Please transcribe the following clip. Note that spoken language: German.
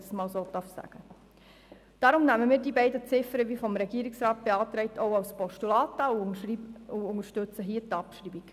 Deshalb nehmen wir die beiden Ziffern wie vom Regierungsrat beantragt als Postulat an und unterstützen dessen Abschreibung.